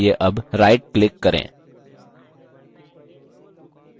context menu खोलने के लिए अब right click करें